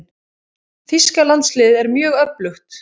Þýska landsliðið er mjög öflugt.